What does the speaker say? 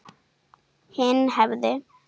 Hinn hefði